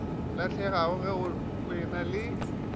lahlegago ge go ena le